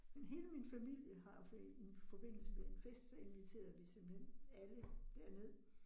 Men hele min familie har for i forbindelse med en fest, så inviterede vi simpelthen alle derned